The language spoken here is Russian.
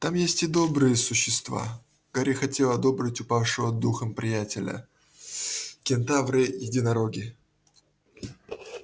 там есть и добрые существа гарри хотел ободрить упавшего духом приятеля кентавры единороги